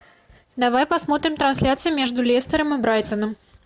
давай посмотрим трансляцию между лестером и брайтоном